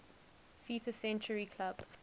fifa century club